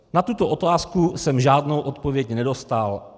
Na tuto otázku jsem žádnou odpověď nedostal.